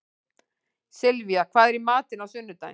Sylvía, hvað er í matinn á sunnudaginn?